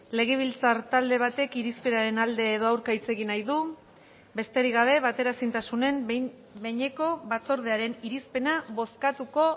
legebiltzar talde batek irizpenaren alde edo aurka hitz egin nahi du besterik gabe bateraezintasunen behin behineko batzordearen irizpena bozkatuko